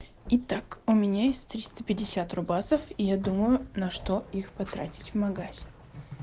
и так у меня есть триста пятьдесят рубасов я думаю на что их потратить в магазине